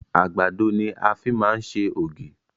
Àgbàdo ni a fi máa ń ṣe ògì